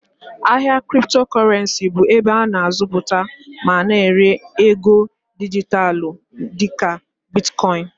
Ahịa Cryptocurrency bụ ebe a na-azụta ma na-ere ego dijitalụ dịka Bitkọin